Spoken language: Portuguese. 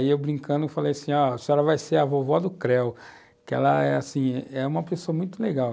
Aí eu brincando falei assim, a senhora vai ser a vovó do Creu, que ela é assim uma pessoa muito legal.